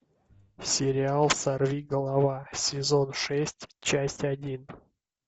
сериал сорвиголова сезон шесть часть один